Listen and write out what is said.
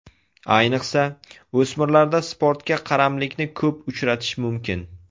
Ayniqsa, o‘smirlarda sportga qaramlikni ko‘p uchratish mumkin.